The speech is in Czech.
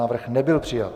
Návrh nebyl přijat.